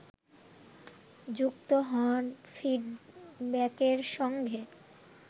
যুক্ত হন ফিডব্যাকের সঙ্গে